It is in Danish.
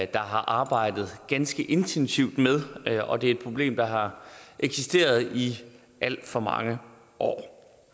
der har arbejdet ganske intensivt med og det er et problem der har eksisteret i alt for mange år